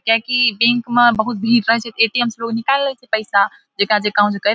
किया की बैंक मे बहुत भीड़ रहे छै ते ए.टी.एम से लोग निकाएल ले छै पैसा जेकरा जेकरा--